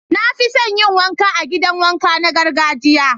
Na fi son yin wanka a'gidan wanka na gargajiya.